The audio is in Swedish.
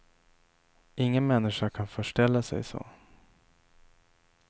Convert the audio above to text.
Ingen människa kan förställa sig så.